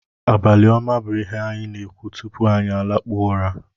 Abalị ọma bụ ihe anyị na-ekwu tupu anyị alakpuo ụra